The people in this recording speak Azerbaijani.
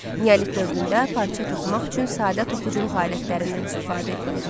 Neolit dövründə parça toxumaq üçün sadə toxuculuq alətlərindən istifadə edilirdi.